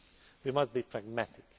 We must be pragmatic.